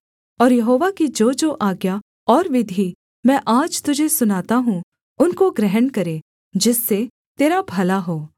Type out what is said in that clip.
और यहोवा की जोजो आज्ञा और विधि मैं आज तुझे सुनाता हूँ उनको ग्रहण करे जिससे तेरा भला हो